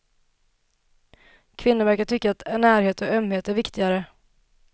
Kvinnor verkar tycka att närhet och ömhet är viktigare.